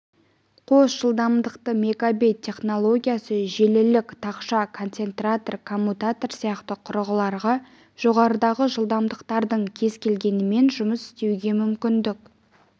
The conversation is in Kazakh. қос жылдамдықты мегабит технологиясы желілік тақша концентратор коммутатор сияқты құрылғыларға жоғарыдағы жылдамдықтардың кез келгенімен жұмыс істеуге мүмкіндік